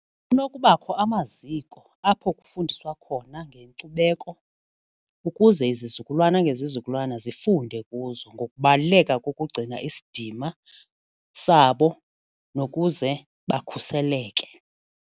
Kunokubakho amaziko apho kufundiswa khona ngenkcubeko ukuze izizukulwana ngezizukulwana zifunde kuzo ngokubaluleka kokugcina isidima sabo nokuze bakhuseleke.